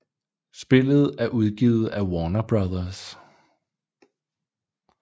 Spillet er udgivet af Warner Bros